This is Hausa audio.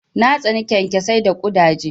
Na tsani kyankyasai da ƙudaje.